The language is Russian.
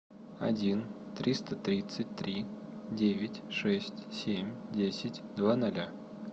один триста тридцать три девять шесть семь десять два ноля